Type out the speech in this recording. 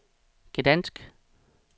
Gdansk